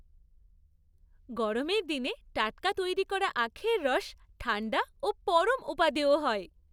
গরমের দিনে টাটকা তৈরি করা আখের রস ঠাণ্ডা ও পরম উপাদেয় হয়।